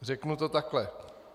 Řeknu to takhle.